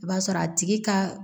I b'a sɔrɔ a tigi ka